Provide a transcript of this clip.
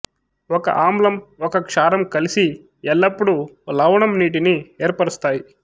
ఒక ఆమ్లం ఒక క్షారం కలిసి ఎల్లప్పుడు లవణం నీటిని ఏర్పరుస్తాయి